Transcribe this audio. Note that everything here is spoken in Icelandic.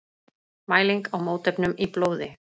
Mæling á mótefnum í blóði.